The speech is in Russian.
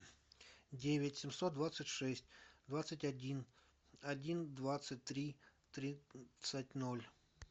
девять семьсот двадцать шесть двадцать один один двадцать три тридцать ноль